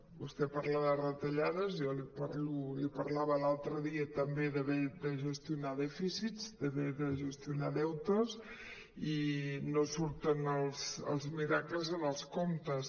vostè parla de retallades jo li parlava l’altre dia també d’haver de gestionar dèficits d’haver de gestionar deutes i no surten els miracles en els comptes